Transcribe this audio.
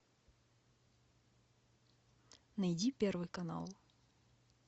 найди первый канал